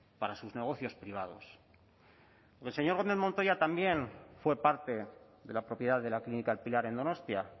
para sus negocios privados el señor gómez montoya también fue parte de la propiedad de la clínica el pilar en donostia